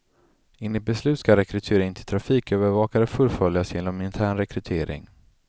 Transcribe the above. Enligt beslut skall rekryteringen till trafikövervakare fullföljas genom intern rekrytering.